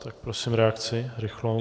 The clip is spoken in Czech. Tak prosím, reakci rychlou.